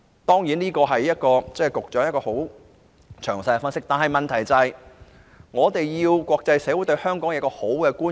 局長的分析十分詳細，但最重要的是，我們能令國際社會對香港有良好觀感。